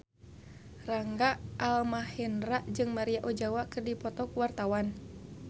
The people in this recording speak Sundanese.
Rangga Almahendra jeung Maria Ozawa keur dipoto ku wartawan